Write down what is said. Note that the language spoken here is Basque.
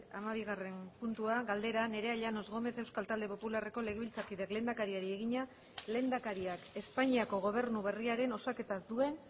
hamabigarren puntua galdera nerea llanos gómez euskal talde popularreko legebiltzarkideak lehendakariari egina lehendakariak espainiako gobernu berriaren osaketaz duen